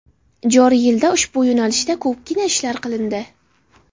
Joriy yilda ushbu yo‘nalishda ko‘pgina ishlar qilindi.